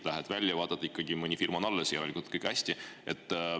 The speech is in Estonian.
Lähed välja, vaatad, et ikkagi mõni firma on alles, järelikult on kõik hästi.